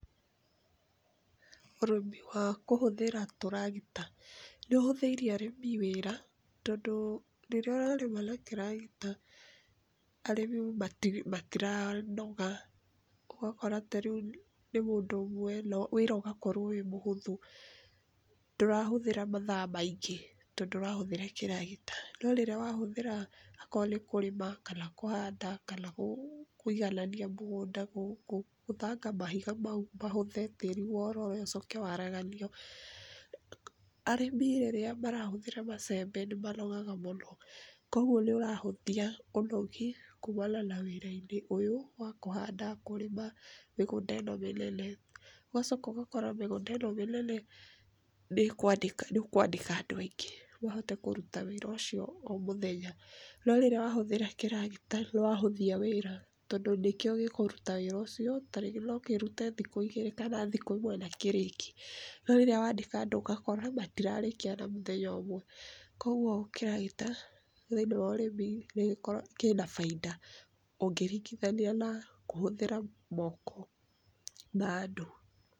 Ũrĩmi wa kũhũthĩra tũragita nĩũhũthĩirie arĩmi wĩra tondũ rĩrĩa ũrarĩma na tũragita arĩmi matiranoga. Ũgakora tarĩu nĩ mũndũ ũmwe na wĩra ũgakorwo wĩ mũhũthũ, ndũrahũthĩra mathaa maingĩ tondũ ũrahũthĩra kĩragita, no rĩrĩa wahũthĩra akorwo nĩ kũrĩma kana kũhanda kana kũiganania mũgũnda, kũgũthanga mahiga mau mahũthe, tĩri wororoe ũcoke waraganio. Arĩmi rĩrĩa marahũthĩra macembe nĩ manogaga mũno, kwoguo nĩ ũrahũthia ũnogi kumana na wĩra-inĩ ũyũ wa kũhanda, kũrĩma mĩgũnda ĩno mĩnene. Ũgacoka ũgakora mĩgũnda ĩno mĩnene nĩũkwandĩka andũ aingĩ mahote kũruta wĩra ũcio omũthenya no rĩrĩa wahũthĩra kiĩragita nĩwahũthia wĩra tondũ nĩkĩo gĩkũruta wĩra ũcio. Tarĩngĩ nokĩrute thikũ igĩrĩ kana ĩmwe nakĩrĩkie, no rĩrĩa wandĩka andũ ũgakora matirarĩkia na mũthenya ũmwe, kwoguo kĩragita thĩinĩ wa ũrĩmi nĩgĩkoragwo kĩna bainda ũngĩringithania na kũhũthĩra moko ma andũ.